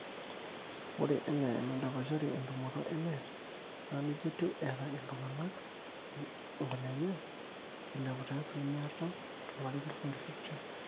ore enaa enidapashari entumoto enet naa neija etiu eeta iltung'anak inkunenye eilepu te asilimia artam tolari le 2015